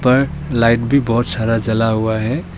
ऊपर लाइट भी बहुत सारा जला हुआ है।